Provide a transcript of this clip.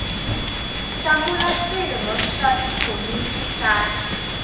hlawula swirho swa tikomiti ta